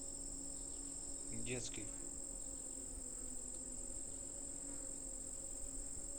детский